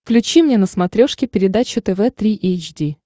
включи мне на смотрешке передачу тв три эйч ди